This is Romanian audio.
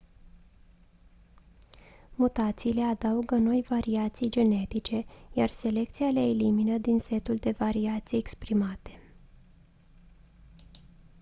mutațiile adaugă noi variații genetice iar selecția le elimină din setul de variații exprimate